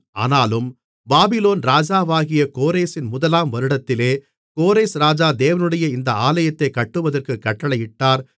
ஆனாலும் பாபிலோன் ராஜாவாகிய கோரேசின் முதலாம் வருடத்திலே கோரேஸ் ராஜா தேவனுடைய இந்த ஆலயத்தைக் கட்டுவதற்கு கட்டளையிட்டார்